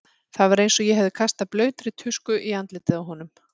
Það var eins og ég hefði kastað blautri tusku í andlitið á honum.